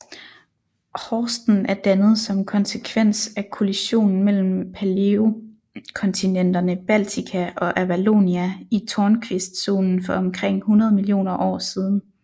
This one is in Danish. Horsten er dannet som konsekvens af kollisionen mellem paleokontinenterne Baltika og Avalonia i Tornquistzonen for omkring 100 millioner år siden